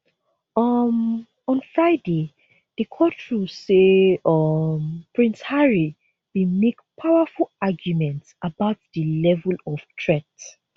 um on friday di court rule say um prince harry bin make powerful arguments about di level of threat